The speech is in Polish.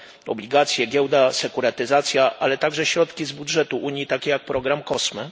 obligacje, giełda, sekurytyzacja, ale także środki z budżetu Unii, takie jak program COSME.